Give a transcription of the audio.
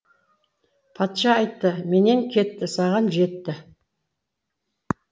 патша айтты менен кетті саған жетті